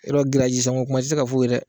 I yɔrɔ sanko kuma tɛ se ka fɔ o ye dɛ